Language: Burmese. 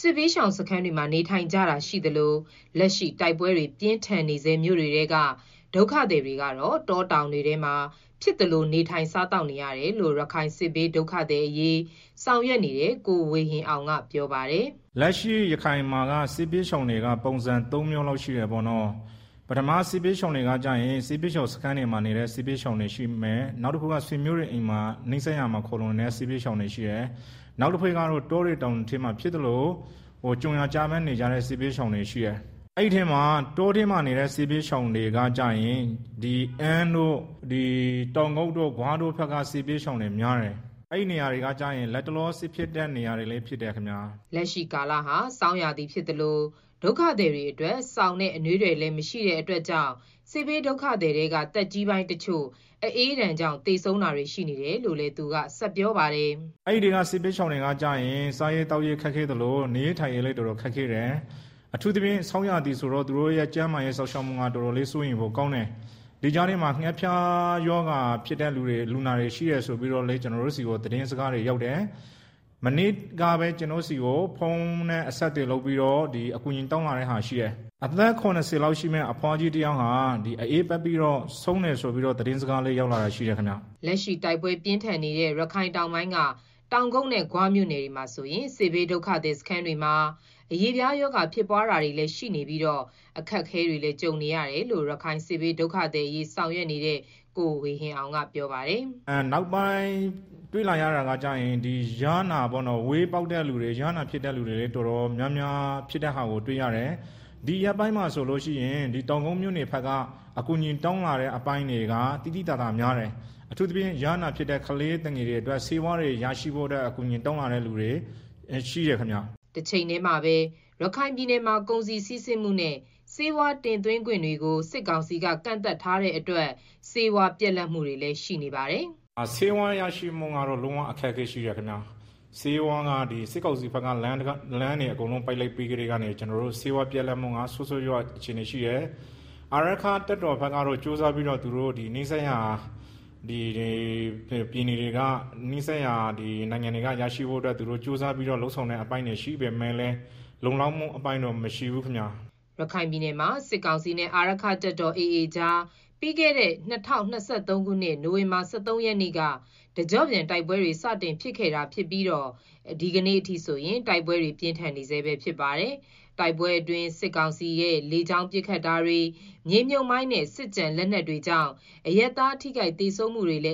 စစ်ဘေးရှောင်စခန်းတွေမှာ နေထိုင် ကြတာရှိသလို လက်ရှိတိုက်ပွဲပြင်းထန်နေဆဲ မြို့တွေထဲက ဒုက္ခသည်တွေကတော့ တောတောင်တွေ ထဲမှာ ဖြစ်သလို စားသောက်နေထိုင်နေရတယ်လို့ ရခိုင်စစ်ဘေးဒုက္ခသည်အရေးဆောင်ရွက်နေတဲ့ ကိုဝေဟင်အောင်ကပြောပါတယ်။ ရခိုင်ပြည်နယ်မှာက စစ်ဘေးရှောင်တွေက ပုံစံသုံးမျိုးလောက်ရှိတယ်ပေါ့နော်၊ စစ်ဘေးရှောင် စခန်းတွေမှာနေတဲ့ စစ်ဘေးရှောင်တွေရှိမယ်။ နောက်တခုကတော့ နီးစပ်ရာ ဆွေမျိုးတွေအိမ်မှာ နေတဲ့သူတွေရှိမယ်၊ နောက်တခုကတော့ တောတွေ တောင်တွေထဲမှာ ဖြစ်သလို ကြုံရာကျဘန်း နေကြတဲ့ စစ်ဘေးရှောင်တွေရှိမယ်၊ အဲဒီထဲမှာ တောထဲမှာနေတဲ့ စစ်ဘေးရှောင်တွေကကျတော့ အမ်းတို့၊ တောင်ကုတ်တို့၊ ဂွတို့ ဘက်က စစ်ဘေးရှောင်တွေများတယ်။ အဲဒီနေရာတွေက လတ်တလော စစ်ဖြစ်တဲ့နေရာတွေလည်းဖြစ်တယ်ခင်ဗျာ။ လက်ရှိကာလဟာ ဆောင်းရာသီဖြစ်သလို ဒုက္ခသည်တွေအတွက် စောင်နဲ့ အနွေးထည်တွေ မရှိ တာကြောင့်လည်း စစ်ဘေးဒုက္ခသည်ထဲက သက်ကြီးပိုင်းတချို့ အအေးဒဏ်ကြောင့် သေဆုံး တာတွေရှိနေ တယ်လို့ သူကဆက်ပြေပါတယ်။ စားရေးသောက်ရေးလည်း ခက်ခဲသလို နေရေးထိုင်ရေးလည်း တော်တော် ခက်ခဲတယ်။အထူးသဖြင့်ဆောင်းရာသီဆိုတော့ သူတို့ရဲ့ကျန်းမာရေးစောင့်ရှောက်မှုက တော်တော်လေး စိုးရိမ်ဖို့ကောင်းတယ်၊ ဒီကြားထဲမှာ ငှက်ဖျားဖြစ်တဲ့ လူနာတွေရှိတယ်ဆိုပြီးတော့လည်း ကျနော်တို့ ကြားတယ်။ မနေ့ကပဲ ကျနော့်ဆီကို ဖုန်းနဲ့အဆက်အသွယ်လုပ်ပြီးတော့ အကူအညီတောင်းလာတာ ရှိတယ်။ အသက် ၇၀ လောက်ရှိတဲ့အဘွားတဦး အအေးပတ်ပြီးတော့ ဆုံးတယ်ဆိုပြီး သတင်းစကား လက်ရှိတိုက်ပွဲပြင်းထန်နေတဲ ရခိုင်တောင်ပိုင်းက တောင်ကုတ်နဲ့ဂွမြို့နယ်တွေက စစ်ဘေး ဒုက္ခသည်စခန်းတွေမှာအရေးအပြားရောဂါြဖစ်နေပြီး အခက်ကြုံနေရတယ်လို့ ရခိုင်စစ်ဘေး ဒုက္ခသည်အရေး ဆောင်ရွက်နေတဲ့ ကိုဝေဟင်အောင် ကပြောပါတယ်။ ဝဲပေါက်တဲ့သူတွေ၊ ယားနာပေါက်တဲ့ သူတွေ တော်တော်များများ တွေ့ရတယ်။ ဒီရက်ပိုင်းမှာဆိုရင် တောင်ကုတ်မြို့နယ်ဘက်က အကူအညီတောင်းလာတာက သိသိသာ သာများတယ်၊ အထူးသဖြင့် ယားနာပေါက်တဲ့ကလေးသူငယ်တွေအတွက် ဆေးဝါးအကူအညီ တောင်းလာသူတွေလည်းများတယ်။ တချိန်တည်းမှာပဲ ရခိုင်ပြည်နယ်မှာ ကုန်စည်စီးဆင်းမှုနဲ့ ဆေဝါးတင်သွင်းခွင့်တွေကို စစ်ကောင်စီက ကန့်သတ်ထားတာကြောင့် ဆေးဝါးတွေ ပြတ်လပ်နေတယ်လို့လည်း ပြောပါတယ်။ လုံးဝအခက်အခဲရှိတယ်ခင်ဗျာ၊ စစ်ကောင်စီဘက်က လမ်းတွေအကုန်လုံးကို ပိတ်လိုက်ပြီးကတည်းက ကျနော်တို့မှာ ဆေးဝါးပြတ်လပ်မှုက ဆိုးဆိုးရွားရွား အခြေအနေရှိတယ်၊ အာရက္ခတပ်တော်ဘက်တော့တတ်နိုင်သမျှကြိုးစားပြီးတော့ နီးစပ်ရာပြည်နယ်တွေနဲ့ နိုင်ငံတချို့က ဆေးဝါးရရှိဖို့ ကြိုးစားပြီးတော့ လုပ်ဆောင်တဲ့အပိုင်းတွေရှိပေမယ့်လည်း လုံလောက်မှုအပိုင်းတော့ ရခိုင်ပြည်နယ်မှာ စစ်ကောင်စီနဲ့ အာရက္ခတပ်တော် AAကြား ပြီးခဲ့တဲ့ ၂၀၂၃ ခုနှစ် နိုင်ဝင်ဘာလ ၁၃ ရက်နေ့က တကြော့ပြန်တိုက်ပွဲတွေ စတင်ခဲ့တာြဖစ်ပြီး ဒီကနေ့အထိ တိုက်ပွဲတွေပြင်းထန်နေဆဲ ဖြစ်ပါတယ်။ တိုက်ပွဲအတွင်း စစ်ကောင်စီလေကြောင်းပစ်ခတ်တာတွေ မြေမြှုပ်မိုင်းနဲ့ စစ်ကျန် လက်နက်တွေကြောင့် အရပ်သားထိခိုက်သေဆုံးမှုတွေလည်း